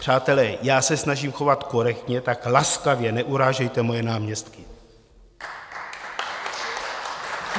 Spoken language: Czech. Přátelé, já se snažím chovat korektně, tak laskavě neurážejte moje náměstky.